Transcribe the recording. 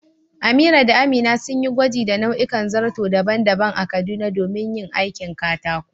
Amira da Amina sun yi gwaji da nau'ikan zarto daban-daban a Kaduna domin yin aikin katako.